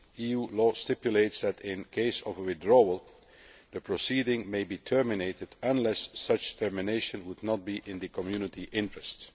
EU law stipulates that, where a case is withdrawn, the proceedings can be terminated unless such termination would not be in the Community interests.